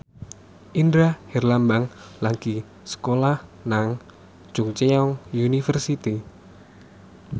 Indra Herlambang lagi sekolah nang Chungceong University